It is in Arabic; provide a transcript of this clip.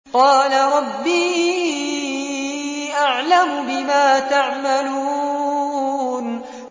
قَالَ رَبِّي أَعْلَمُ بِمَا تَعْمَلُونَ